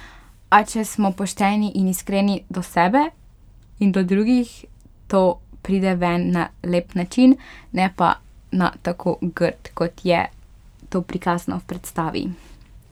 A če smo pošteni in iskreni do sebe in do drugih, to pride ven na lep način, ne pa na tako grd, kot je to prikazano v predstavi.